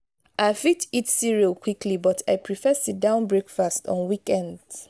i fit eat cereal quickly but i prefer sit-down breakfast on weekends.